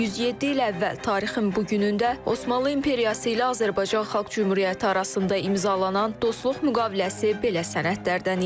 107 il əvvəl tarixin bu günündə Osmanlı İmperiyası ilə Azərbaycan Xalq Cümhuriyyəti arasında imzalanan Dostluq müqaviləsi belə sənədlərdən idi.